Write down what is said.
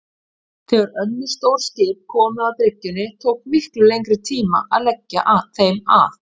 Þegar önnur stór skip komu að bryggjunni tók miklu lengri tíma að leggja þeim að.